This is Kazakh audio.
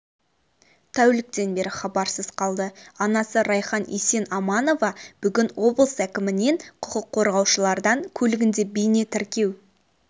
тәуліктен бері хабарсыз қалды анасы райхан есенаманова бүгін облыс әкімінен құқық қорғаушылардан көлігінде бейне тіркеу